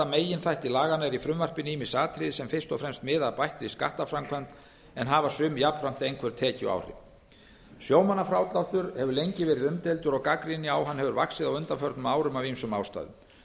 meginþætti laganna eru í frumvarpinu ýmis atriði sem fyrst og fremst miða að bættri skattaframkvæmd en hafa sum jafnframt einhver tekjuáhrif sjómannafrádráttur hefur lengi verið umdeildur og gagnrýni á hann hefur vaxið á undanförnum árum af ýmsum ástæðum